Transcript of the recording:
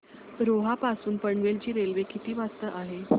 रोहा पासून पनवेल ची रेल्वे किती वाजता आहे